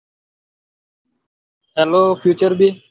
hello future B